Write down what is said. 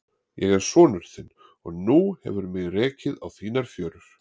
Ég er sonur þinn og nú hefur mig rekið á þínar fjörur.